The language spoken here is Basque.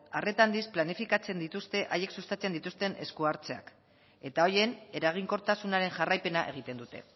arreta handiz planifikatzen dituzte haiek sustatzen dituzten esku hartzeak eta horien eraginkortasunaren jarraipena egiten dute